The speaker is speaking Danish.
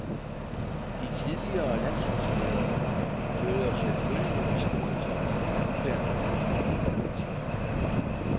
De tidligere landsholdspillere følger selvfølgelig med stor interesse det nuværende danske foldboldlandshold. punktum